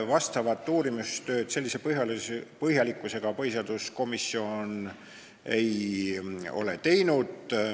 Vastavat uurimistööd sellise põhjalikkusega põhiseaduskomisjon ei ole teinud.